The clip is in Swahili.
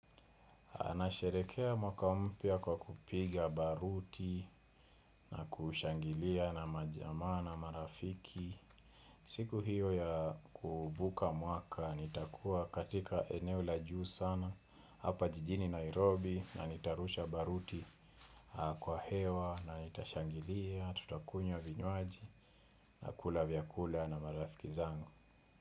Anasherekea mwaka mpya kwa kupiga baruti na kushangilia na majamaa na marafiki. Siku hiyo ya kuvuka mwaka nitakuwa katika eneo la juu sana hapa jijini Nairobi na nitarusha baruti kwa hewa na nitashangilia tutakunywa vinywaji na kula vyakula na marafiki zangu.